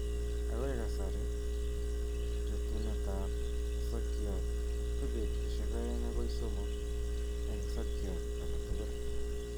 Akoi kasari, rutuunetab sokyoot ko betusiek 2 akoi 3 en sokyoot aketukul